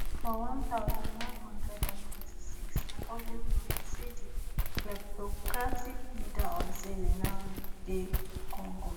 for one thousand, nine hundred and ninety-six na public knowledge say di kleptocratic leader of zaire now dey congo